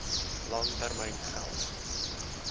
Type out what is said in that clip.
lang termyn geld